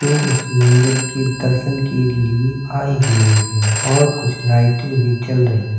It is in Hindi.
तो उस मंदिर के दर्सन के लिए आए हुए हैं और कुछ लाइटें भी चल रही --